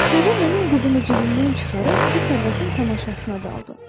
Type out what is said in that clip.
Sonra mənim quzumu cibimdən çıxarıb bu sərvətin tamaşasına daldı.